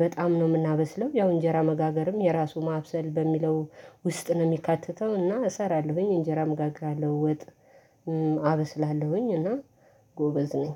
በጣም ነው የምናበስለው፤ ያው እንጀራ መጋገርም የራሱ ማብሰል በሚለው ውስጥ ነው የሚካተተው እና እሰራለሁኝ እንጀራ እምጋግራለሁ ወጥ አበስላለሁኝ እና ጎበዝ ነኝ።